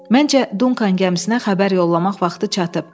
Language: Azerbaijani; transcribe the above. Məncə Dunkan gəmisinə xəbər yollamaq vaxtı çatıb.